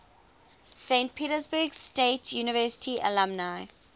saint petersburg state university alumni